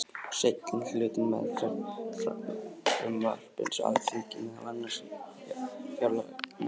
Seinni hlutinn er meðferð frumvarpsins á Alþingi, meðal annars í fjárlaganefnd.